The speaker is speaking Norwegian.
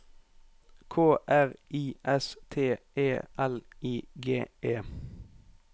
K R I S T E L I G E